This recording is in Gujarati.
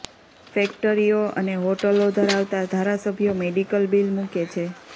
ફેક્ટરીઓ અને હોટલો ધરાવતા ધારાસભ્યો મેડિકલ બીલ મુકે છે